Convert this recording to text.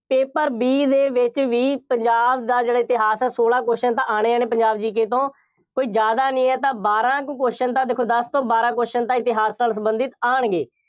paper B ਦੇ ਵਿੱਚ ਵੀ, ਪੰਜਾਬ ਦਾ ਜਿਹੜਾ ਇਤਿਹਾਸ ਹੈ, ਸੋਲਾਂ question ਤਾਂ ਆਉਣੇ ਆਉਣੇ, ਪੰਜਾਬ GK ਤੋਂ, ਕੋਈ ਜ਼ਿਆਦਾ ਨਹੀਂ ਹੈ ਤਾਂ ਬਾਰਾਂ ਕੁ question ਤਾਂ ਦੇਖੋ ਦਸ ਤੋਂ ਬਾਰਾਂ question ਤਾਂ ਇਤਿਹਾਸ ਨਾਲ ਸੰਬੰਧਿਤ ਆਉਣਗੇ।